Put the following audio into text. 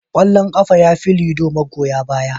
Kwallon kafa yafi lido magoya baya.